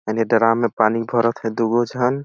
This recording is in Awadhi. एने डराम में पानी भरत है दु गो झन--